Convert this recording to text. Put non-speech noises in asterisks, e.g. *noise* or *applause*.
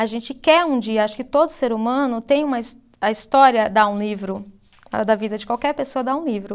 A gente quer um dia, acho que todo ser humano tem uma, a história dá um livro, *unintelligible* da vida de qualquer pessoa dá um livro.